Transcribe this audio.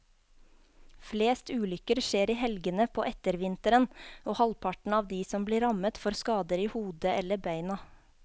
Flest ulykker skjer i helgene på ettervinteren, og halvparten av de som blir rammet får skader i hodet eller beina.